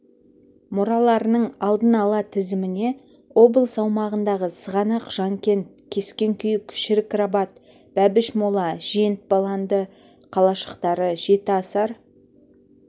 мұраларының алдын ала тізіміне облыс аумағындағы сығанақ жанкент кескен-күйік шірік-рабат бәбіш-мола жент баланды қалашықтары жетіасар